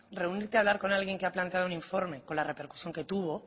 reunirte a hablar con alguien que ha planteado un informe con la repercusión que tuvo